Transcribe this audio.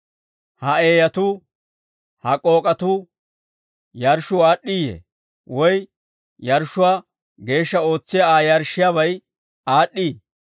Ha eeyatuu, ha k'ook'atuu, yarshshuu aad'd'iiyee? Woy yarshshuwaa geeshsha ootsiyaa Aa yarshshiyaabay aad'd'ii?